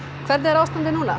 hvernig er ástandið núna